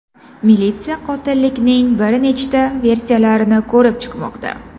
Militsiya qotillikning bir nechta versiylarini ko‘rib chiqmoqda.